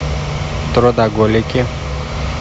трудоголики